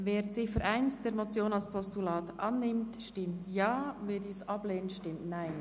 Wer die Ziffer 1 der Motion als Postulat annimmt, stimmt Ja, wer dies ablehnt, stimmt Nein.